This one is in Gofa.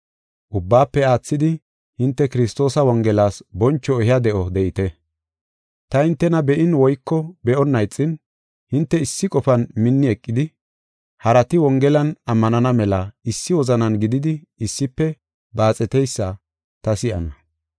Ubbaafe aathidi, hinte Kiristoosa Wongelas boncho ehiya de7o de7ite. Ta hintena be7in woyko be7onna ixin, hinte issi qofan minni eqidi, harati Wongelan ammanana mela issi wozanan gididi issife baaxeteysa ta si7ana.